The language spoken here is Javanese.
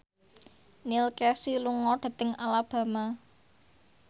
Neil Casey lunga dhateng Alabama